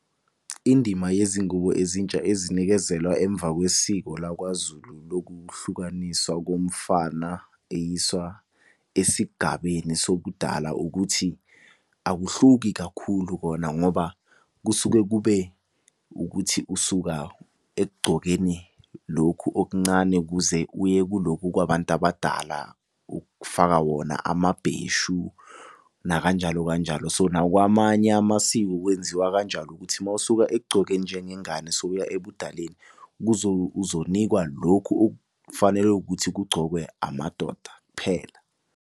Indima yezingubo ezintsha ezinikezelwa emva kwesiko lakwaZulu lokuhlukaniswa komfana eyiswa esigabeni sobudala ukuthi. Akuhluki kakhulu kona ngoba kusuke kube ukuthi usuka ekugcokeni lokhu okuncane ukuze uye kulokhu kwabantu abadala. Ukufaka wona amabheshu nakanjalo kanjalo so nakwamanye amasiko kwenziwa kanjalo ukuthi mawusuka ekugcokeni njengengane, sowuya ebudaleni uzonikwa lokhu okufanele ukuthi kugcokwe amadoda kuphela.